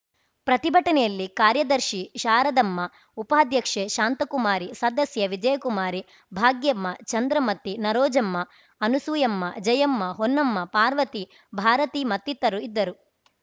ಪ್ರತಿಭಟನೆಯಲ್ಲಿ ಕಾರ್ಯದರ್ಶಿ ಶಾರದಮ್ಮ ಉಪಾಧ್ಯಕ್ಷೆ ಶಾಂತಕುಮಾರಿ ಸದಸ್ಯರು ವಿಜಯಕುಮಾರಿ ಭಾಗ್ಯಮ್ಮ ಚಂದ್ರಮತಿ ನರೋಜಮ್ಮ ಅನುಸೂಯಮ್ಮ ಜಯಮ್ಮ ಹೊನ್ನಮ್ಮ ಪಾರ್ವತಿ ಭಾರತಿ ಮತ್ತಿತರು ಇದ್ದರು